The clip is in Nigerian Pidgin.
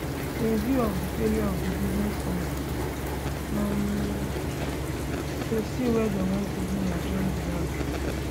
in view of di failure of di business committee um to sitwe dey once again adjourn di house